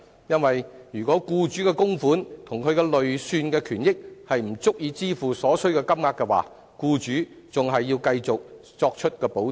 如果僱主的供款及其累算權益不足以支付所須金額，僱主仍須作出補貼。